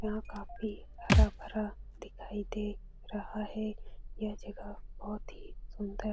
यहां काफी हरा-भरा दिखाई दे रहा है यह जगह बहुत ही सुंदर --